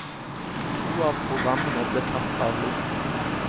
To av programmene ble tatt av luften.